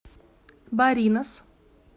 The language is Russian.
баринас